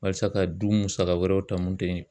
Halisa ka du musaka wɛrɛw ta mun te ye.